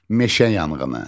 Meşə yanğını.